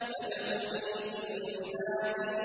فَادْخُلِي فِي عِبَادِي